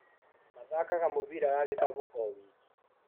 Mathakaga mũbira wa gĩkabu o wiki.